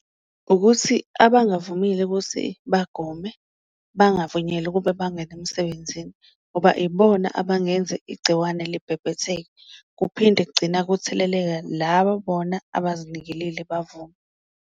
Ukuthi abangavumile ukuthi bagome bangavunyelwa ukuba bangene emsebenzini ngoba ibona abangenza igciwane libhebhetheke, kuphinde kugcina kutheleleka laba bona abazinikelile bavuma.